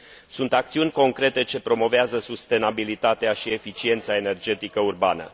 sunt acțiuni concrete ce promovează sustenabilitatea și eficiența energetică urbană.